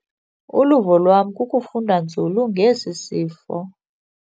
Uluvo lwam kukufunda nzulu ngesi sifo.